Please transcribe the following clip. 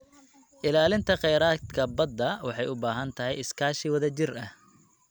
Ilaalinta kheyraadka badda waxay u baahan tahay iskaashi wadajir ah.